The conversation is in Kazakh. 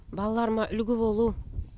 балаларыма үлгі болу